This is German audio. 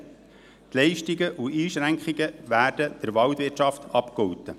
Die Leistungen und Einschränkungen werden der Waldwirtschaft abgegolten.